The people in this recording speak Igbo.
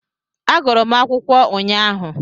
Agụrụ m akwụkwọ ụnyaahụ